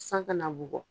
San kana bugɔ